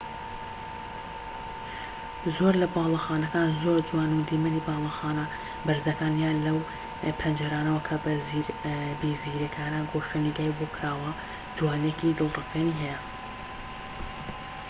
زۆر لە باڵەخانەکان زۆر جوانن و دیمەنی باڵەخانە بەرزەکان یان لەو پەنجەرانەوە کە بە زیرەکانە گۆشەنیگای بۆ کراوە جوانیەکی دڵرفێنی هەیە